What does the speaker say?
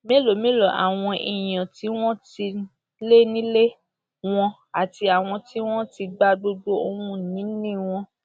mélòó mélòó làwọn èèyàn tí wọn ti lé nílé wọn àti àwọn tí wọn ti gba gbogbo ohun ìní wọn